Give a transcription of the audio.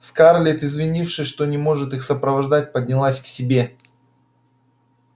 скарлетт извинившись что не может их сопровождать поднялась к себе